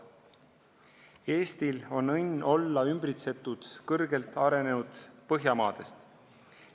Eestil on õnn olla ümbritsetud kõrgelt arenenud Põhjamaadest.